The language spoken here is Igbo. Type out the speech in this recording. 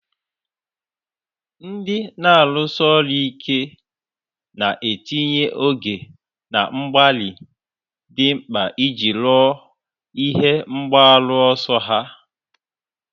Ndị na-arụsi ọrụ ike na-etinye oge na mgbalị dị mkpa iji ruo ihe mgbaru ọsọ ha.